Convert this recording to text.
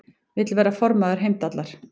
Vill verða formaður Heimdallar